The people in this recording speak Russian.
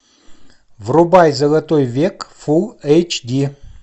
врубай золотой век фул эйч ди